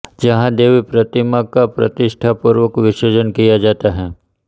जहाँ देवी प्रतिमा का प्रतिष्ठापूर्वक विसर्जन किया जाता है